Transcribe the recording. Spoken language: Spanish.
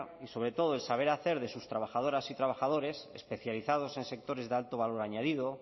y sobre todo el saber hacer de sus trabajadoras y trabajadores especializados en sectores de alto valor añadido